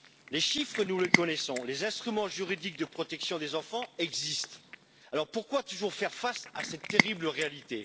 Les chiffres, nous les connaissons, les instruments juridiques de protection des enfants existent, alors pourquoi toujours faire face à cette terrible réalité?